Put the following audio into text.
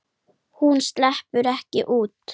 Hún sleppur ekki út.